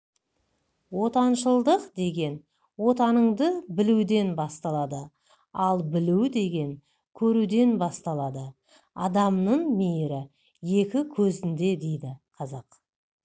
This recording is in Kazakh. отаншылдық деген отаныңды білуден басталады ал білу деген көруден басталады адамның мейірі екі көзінде дейді қазақ